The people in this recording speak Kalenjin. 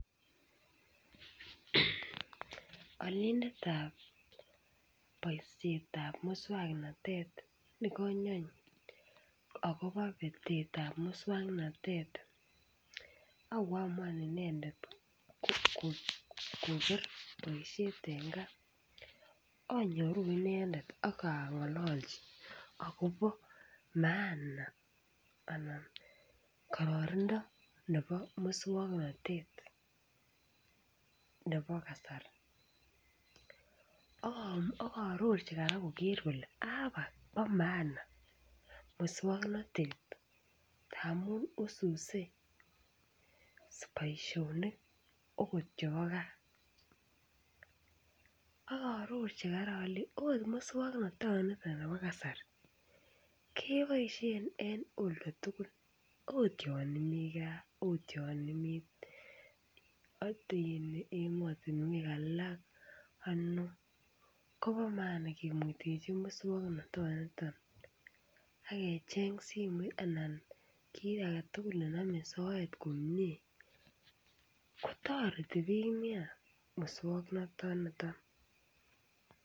Olindetab boisietab muswoknotet nekanyony akobo beteetab muswoknotet akoamuan inendet koker boisiet eng kaa anyuru inendet akong'ololji akobo maana anan ko kararanindo nebo muswoknotet nebo kasari. Aarorji kora koker kolee bo maana muswoknotet amu wiswisi boisiet akot yebo kaa. Akaarorji kola ale err muswoknotoni bo kasari keboisien en olwek tugul. Oot yonimigaa yon imi ot en emotinwek alak, ano . Bo maana kemuitochi muswoknatanito akecheng simoit. Kiy age tugul nenome muswoknotet komie kotoreti muswoknotoniton.